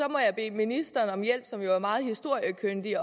må jeg bede ministeren som jo er meget historiekyndig